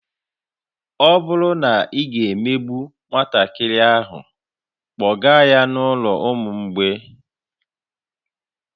Ọ bụrụ na ị ga-emegbu nwatakịrị ahụ, kpọga ya n'ụlọ ụmụ mgbei